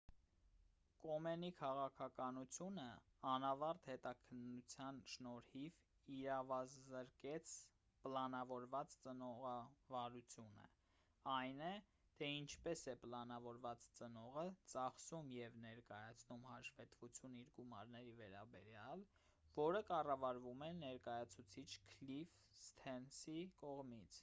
կոմենի քաղաքականությունը անավարտ հետաքննության շնորհիվ իրավազրկեց պլանավորված ծնողավարությունը այն է թե ինչպես է պլանավորված ծնողը ծախսում և ներկայացնում հաշվետվություն իր գումարների վերաբերյալ որը կառավարվում է ներկայացուցիչ քլիֆ սթերնսի կողմից